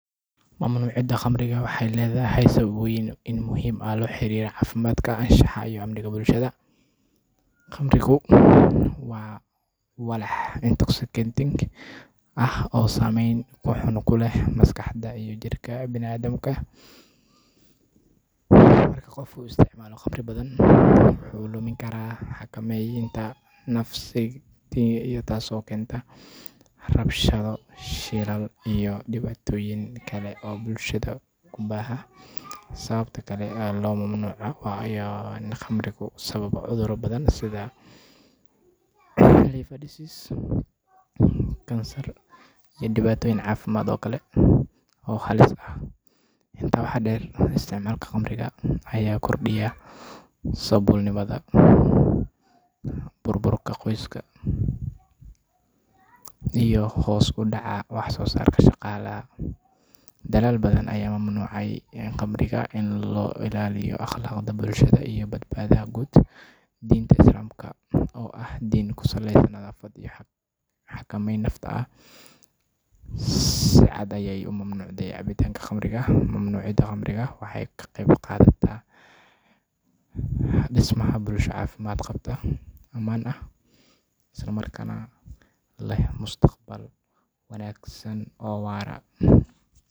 Muuska noocaan ah, oo ah mid ka mid ah miraha ugu caansan ee dunida laga cuno, ayaa leh dhadhan macaan iyo nafaqooyin badan oo muhiim u ah caafimaadka qofka. Su’aasha ah in muuska noocaan ah lagu samayn karo khamri, jawaabteedu waa haa, laakiin waxay ku xirnaan doontaa habka iyo farsamada loo adeegsado samaynta khamriga. Khamriga muuska waxaa lagu sameyn karaa iyadoo la isticmaalayo muus bisil oo tayo wanaagsan leh, kaas oo la shiido ama la mariyo fermentation-ka iyadoo lagu darayo khamiir gaar ah si ay u burburiso sokorta ku jirta muuska una beddesho khamri. Habkani wuxuu u baahan yahay in si taxadar leh loo maamulo heerkulka iyo waqtiga fermentation-ka.